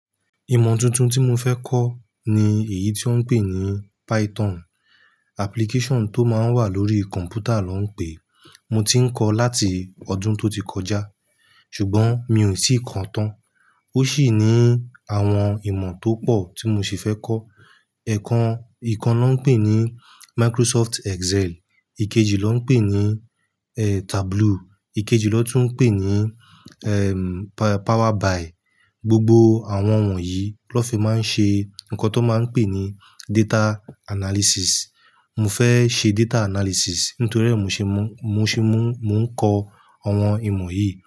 Ìmọ tuntun tí mo fẹ́ kọ́ ni èyí tí wọ́n ń pè ní Python. Application tó máa ń wà lórí kọ̀npútà lọ́ ń pè é. Mo ti ń kọ láti ọdún tó ti kọjá, ṣùgbọ́n mi ò sì kan tán. Ó sì ní àwọn ìmọ̀ tó pọ̀ tí mo sì fẹ́ kọ́. Ẹ̀kan, ìkan lọ́ ń pè ní Microsoft Excel, ìkejì lọ́ ń pè ní, eh, Tableau, ìkejì lọ́tùnún pè ní, ehm, Pa-Power BI. Gbogbo àwọn wọ̀nyí ló fi máa ń ṣe nǹkan tó máa ń pè ní data analysis. Mo fẹ́ ṣe data analysis nítorí ẹ́ mo ṣe mó, mo ṣe mó, mò ń kọ àwọn ìmọ̀ yìí.